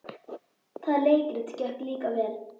Það leikrit gekk líka vel.